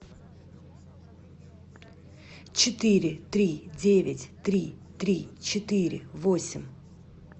четыре три девять три три четыре восемь